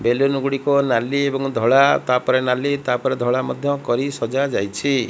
ବେଲୁନୁ ଗୁଡ଼ିକ ନାଲି ଏବଂ ଧଳା ତା ପରେ ନାଲି ତା ପରେ ଧଳା ମଧ୍ୟ କରି ସଜା ଯାଇଛି।